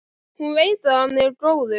Hún veit að hann er góður.